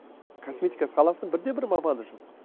косметика саласының бірде бір маманы жоқ